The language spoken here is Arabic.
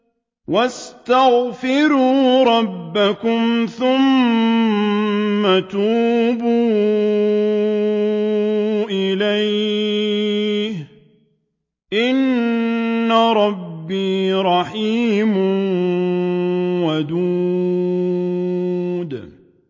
وَاسْتَغْفِرُوا رَبَّكُمْ ثُمَّ تُوبُوا إِلَيْهِ ۚ إِنَّ رَبِّي رَحِيمٌ وَدُودٌ